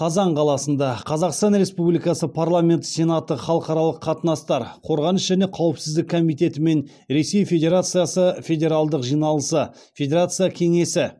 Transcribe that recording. қазан қаласында қазақстан республикасы парламенті сенаты халықаралық қатынастар қорғаныс және қауіпсіздік комитеті мен ресей федерациясы федералдық жиналысы федерация кеңесі